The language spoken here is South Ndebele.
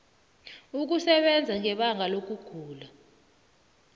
ukusebenza ngebanga lokugula